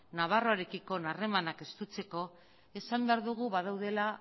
nafarroarekiko harremanak estutzeko esan behar dugu badaudela